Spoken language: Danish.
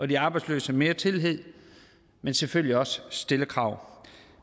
de arbejdsløse mere tillid men selvfølgelig også stille krav